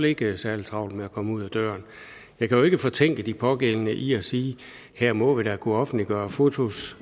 ikke særlig travlt med at komme ud ad døren jeg kan jo ikke fortænke de pågældende i at sige her må vi da kunne offentliggøre fotos